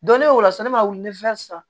Donnen o la sisan ne ma wuli san